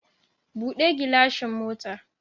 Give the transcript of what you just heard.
Buɗe gilashin motar